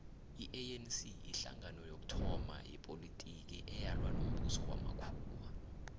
ianc yihlangano yokuthoma yepolotiki eyalwa nombuso wamakhuwa